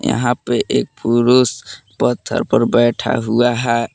यहां पे एक पुरुष पत्थर पर बैठा हुआ है।